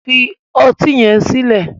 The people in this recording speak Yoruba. fi ọti yen sile.